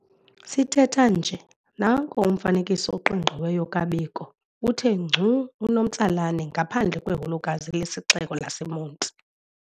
Sithetha nje nanko umfanekiso oqingqiweyo kaBiko uthe ngcu unomtsalane ngaphandle kweholokazi lesixeko saseMonti.